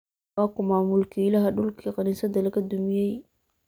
Waa kuma mulkiilaha dhulkii kaniisada laga dumiyey?